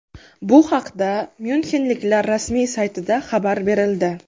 Bu haqda myunxenliklar rasmiy saytida xabar berildi .